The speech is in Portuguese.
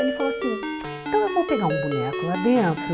Ele falou assim, então eu vou pegar um boneco lá dentro.